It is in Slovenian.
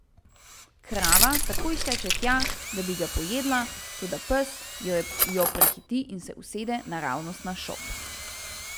Krava takoj steče tja, da bi ga pojedla, toda pes jo prehiti in se usede naravnost na šop.